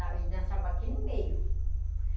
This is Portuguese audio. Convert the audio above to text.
Ele dançava aqui no meio.